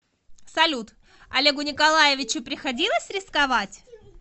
салют олегу николаевичу приходилось рисковать